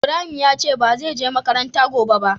Ibrahim ya ce ba ze je makaranta gobe ba.